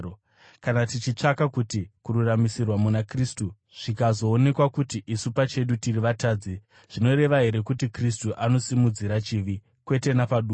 “Kana tichitsvaka kuti kururamisirwa muna Kristu, zvikazoonekwa kuti isu pachedu tiri vatadzi, zvinoreva here kuti Kristu anosimudzira chivi? Kwete napaduku!